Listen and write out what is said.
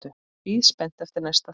Bíð spennt eftir næsta þætti.